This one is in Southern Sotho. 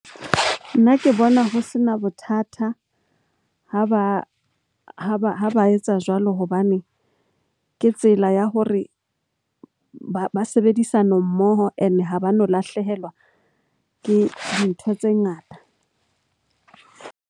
Nna ke bona ho se na bothata ha ba etsa jwalo hobane ke tsela ya hore ba sebedisano mmoho. Ene ha ba no lahlehelwa ke dintho tse ngata.